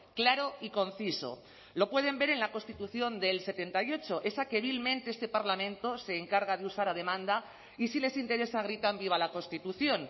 claro y conciso lo pueden ver en la constitución del setenta y ocho esa que vilmente este parlamento se encarga de usar a demanda y si les interesa gritan viva la constitución